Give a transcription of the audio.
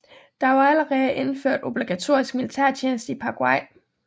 Der var allerede indført obligatorisk militærtjeneste i Paraguay